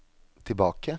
tilbake